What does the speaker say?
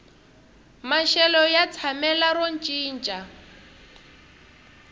maxelo ya tshamela ro cinca